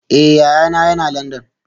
Eh, yayana yana Landan